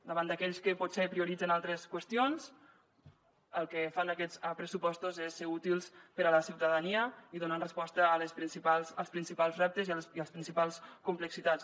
davant d’aquells que potser prioritzen altres qüestions el que fan aquests pressupostos és ser útils per a la ciutadania i donar resposta als principals reptes i a les principals complexitats